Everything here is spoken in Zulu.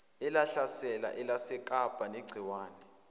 elahlasela elasekapa negciwane